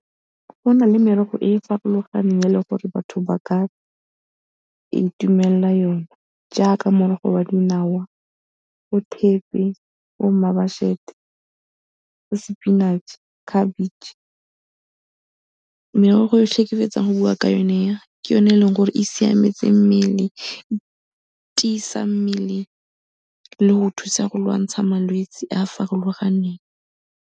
Go na le merogo e e farologaneng e eleng gore batho ba ka itumelela yone jaaka morogo wa dinawa, wa thepe, wa mmabašete, wa spinach, khabetše. Merogo yotlhe e ke fetsang go bua ka yone e, ke yone e eleng gore e siametse mmele, e tiisa mmele le go thusa go lwantsha malwetsi a a farologaneng.